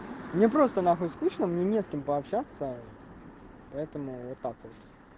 мне просто нахуй скучно мне не с кем пообщаться поэтому вот так вот